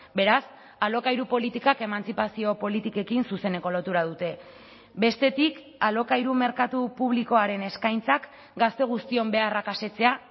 beraz alokairu politikak emantzipazio politikekin zuzeneko lotura dute bestetik alokairu merkatu publikoaren eskaintzak gazte guztion beharrak asetzea